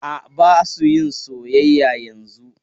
A, ba su yin soyayya yanzun.